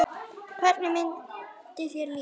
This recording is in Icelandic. Hvernig myndi þér líða?